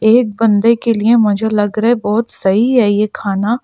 एक बंदे के लिए मुझे लग रहा है बहुत सही है यह खाना--